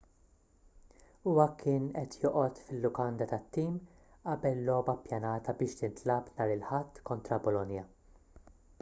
huwa kien qed joqgħod fil-lukanda tat-tim qabel logħba ppjanata biex tintlagħab nhar il-ħadd kontra bolonia